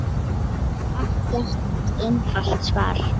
Það er ekkert einfalt svar.